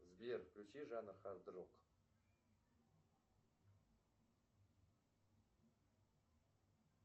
сбер включи жанр хард рок